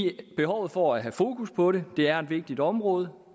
behovet for at have fokus på det det er et vigtigt område